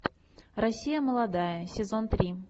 россия молодая сезон три